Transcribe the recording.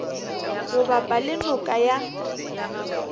go bapa le noka ya